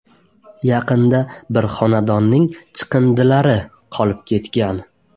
Yaqinda bir xonadonning chiqindilari qolib ketgan.